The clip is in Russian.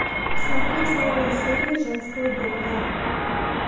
смотреть новые серии женского доктора